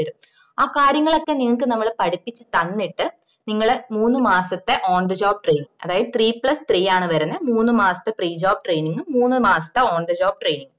ആഹ് കാര്യങ്ങളൊക്കെ നിങ്ങക്ക്‌ നമ്മള് പഠിപ്പിച്ചു തന്നിട്ട് നിങ്ങളെ മൂന്ന് മാസത്തെ on the job training അതായത് three plus three ആണ് വെർന്നേ മൂന്ന് മാസത്തെ prejob training ഉം മൂന്ന് മാസത്തെ on the job training ഉം